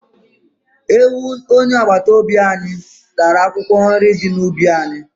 Ewu onye agbata obi anyị tara akwụkwọ nrị dị n'ubi anyị.